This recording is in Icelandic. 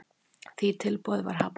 Því tilboði var hafnað.